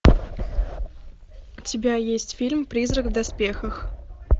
у тебя есть фильм призрак в доспехах